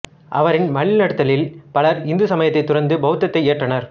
அவரின் வழிநடத்தலில் பலர் இந்து சமயத்தைத் துறந்து பெளத்தத்தை ஏற்றனர்